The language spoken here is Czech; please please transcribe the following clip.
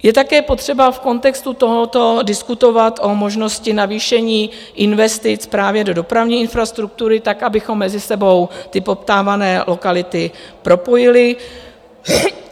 Je také potřeba v kontextu tohoto diskutovat o možnosti navýšení investic právě do dopravní infrastruktury tak, abychom mezi sebou ty poptávané lokality propojili.